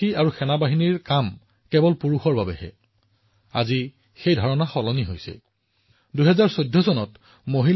উদাহৰণ স্বৰূপে বহুতো কন্যাই বিশেষ জংঘল যুদ্ধ কমাণ্ডোৰ প্ৰশিক্ষণ লৈ আছে যি হৈছে এই মুহূৰ্তত আটাইতকৈ কঠিন প্ৰশিক্ষণ